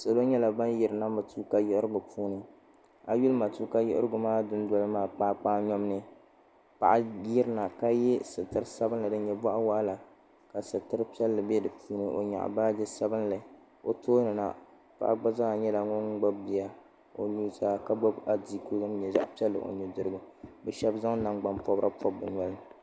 Salo nyɛla bani yirina matuuka yiɣirigu puuni a yi yuli matuuka yiɣirigu du noli maa kpaa kpaa yom ni paɣa yiri na ka ye sitira sabinli dini nyɛ bɔɣi wɔɣila ka sitra piɛlli bɛ di puuni o nyɛɣi baaji sabinli o tooni na paɣa gba zaa nyɛla ŋuni gbubi bia o nu zaa ka gbubi adiiku dini nyɛ zaɣi piɛli o nu dirigu ni bi shɛba zaŋ nagbani pɔbirisi pɔbi bi noya.